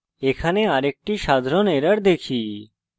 এখন আরেকটি সাধারণ error দেখি